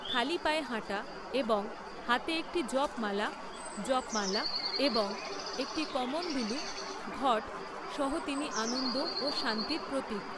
খালি পায়ে হাঁটা এবং হাতে একটি জপ মালা, জপমালা, এবং একটি কমন্ডলু, ঘট, সহ তিনি আনন্দ ও শান্তির প্রতীক।